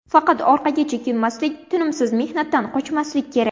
Faqat orqaga chekinmaslik, tinimsiz mehnatdan qochmaslik kerak.